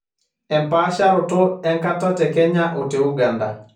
empaasharoto enkata tekenya o teuganda